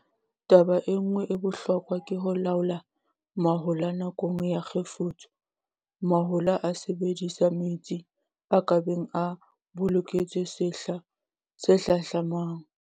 Taba e nngwe ya bohlokwa ke ho laola mahola nakong ya kgefutso. Mahola a sebedisa metsi a ka beng a boloketswe sehla se hlahlamang.